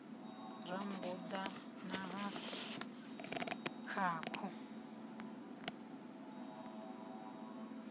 ha rambuḓa na ha khakhu